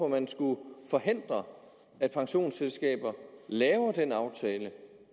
man skulle forhindre at pensionsselskaber laver den aftale